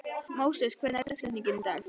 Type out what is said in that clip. Móses, hver er dagsetningin í dag?